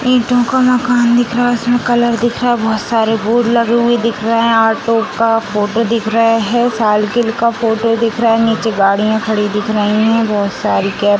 ईंटों का मकान दिख रहा है उसमें कलर दिख रहा है बहुत सारे बोर्ड लगे हुए दिख रहे हैं ऑटो का फोटो दिख रहा है साइकिल का फोटो दिख रहा है नीचे गाड़ियां खड़ी दिख रही हैं बहुत सारी के --